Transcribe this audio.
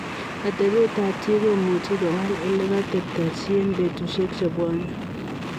Atepeet ap chii komuchii kowal olekatateptai chi eng petusiek chepwone .